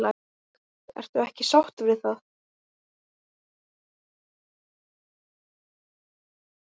Ertu ekki sáttur við það?